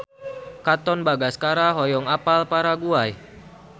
Katon Bagaskara hoyong apal Paraguay